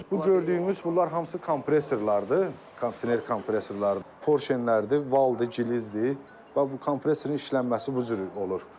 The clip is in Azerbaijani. Bu gördüyümüz bunlar hamısı kompresorlardır, kondisioner kompresorlarıdır, porşenləridir, valdır, gililzdir, bu kompresorun işlənməsi bu cür olur.